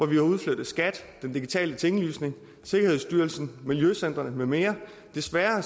vi har udflyttet skat den digitale tinglysning sikkerhedsstyrelsen miljøcentrene med mere desværre